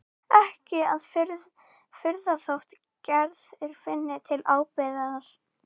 Ekki að furða þótt Gerður finni til ábyrgðar.